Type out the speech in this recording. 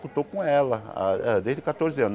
Eu estou com ela desde catorze anos.